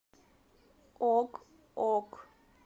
ок ок